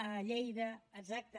a lleida exacte